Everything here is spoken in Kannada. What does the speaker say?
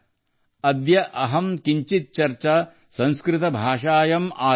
ಅದ್ಯಾ ಅಹಮ್ ಕಿಂಚಿತ್ ಚರ್ಚಾ ಸಂಸ್ಕೃತ ಭಾಷಾಯಾಮ್ ಆರಭೇ